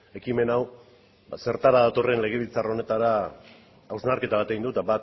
ekimen hau zertara datorren legebiltzar honetara hausnarketa bat egin dut